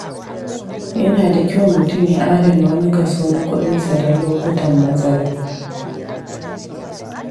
Yana da kyau mutum ya adana wani kaso na kuɗinsa don lokutan matsala.